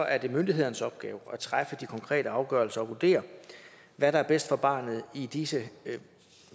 er det myndighedernes opgave at træffe de konkrete afgørelser og vurdere hvad der er bedst for barnet i disse